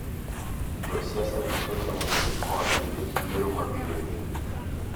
Josiasa duto temo yudo kony nikech yiero ma biro nyime.